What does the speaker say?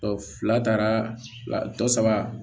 fila taara dɔ saba